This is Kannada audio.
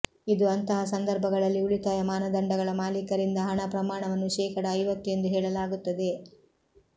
ಇದು ಅಂತಹ ಸಂದರ್ಭಗಳಲ್ಲಿ ಉಳಿತಾಯ ಮಾನದಂಡಗಳ ಮಾಲೀಕರಿಂದ ಹಣ ಪ್ರಮಾಣವನ್ನು ಶೇಕಡಾ ಐವತ್ತು ಎಂದು ಹೇಳಲಾಗುತ್ತದೆ